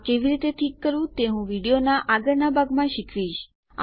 આ કેવી રીતે ઠીક કરવું તે હું વિડીયોનાં આગળનાં ભાગમાં શીખવીશ